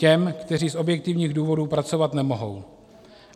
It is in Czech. Těm, kteří z objektivních důvodů pracovat nemohou.